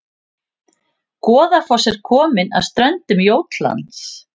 Goðafoss er komin að ströndum Jótlands